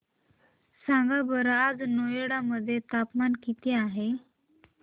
सांगा बरं आज नोएडा मध्ये तापमान किती आहे